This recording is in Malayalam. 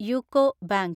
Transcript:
UCO bank